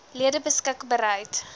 lede beskik bereid